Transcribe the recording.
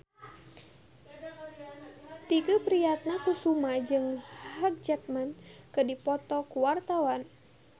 Tike Priatnakusuma jeung Hugh Jackman keur dipoto ku wartawan